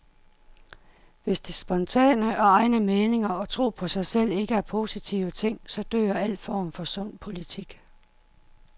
Hvis det spontane, og egne meninger og tro på sig selv ikke er positive ting, så dør al form for sund politik.